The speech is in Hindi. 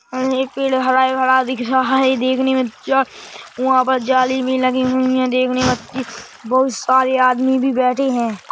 --और एक पेड़ हरा भरा दिख रहा है देखने मे जा वहाँ पर जाली भी लगी हुई है देखने में वहाँ बहोत सारे आदमी भी बैठे हैं।